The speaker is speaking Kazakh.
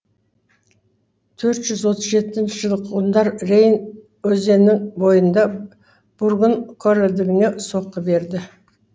төрт жүз отыз жетінші жылы ғұндар рейн өзеннің бойында бургун корольдігіне соққы берді